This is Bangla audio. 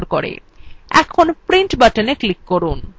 এখন print button click করুন